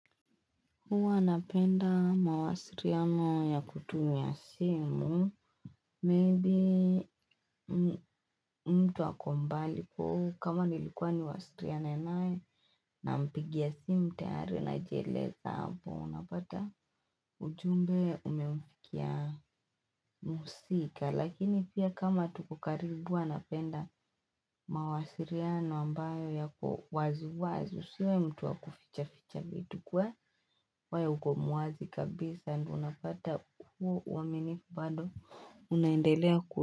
Huwa napenda mawasiliano ya kutumia simu, maybe mtu ako mbali kwa hivyo kama nilikuwa niwasiliane naye, nampigia simu tayari najieleza hapo unapata ujumbe umemfikia mhusika. Lakini pia kama tuko karibu huwa napenda mawasiliano ambayo yako wazi wazi. Usiwe mtu wa kufichaficha vitu ukuwe wewe uko muwazi kabisa ndio unapata huo uaminifu bado unaendelea ku.